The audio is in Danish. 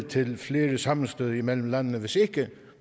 til flere sammenstød imellem landene hvis ikke